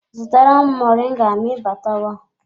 Zụtara m moringa ma ị batawa!